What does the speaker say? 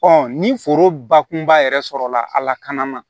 ni foro bakunba yɛrɛ sɔrɔla a lakana na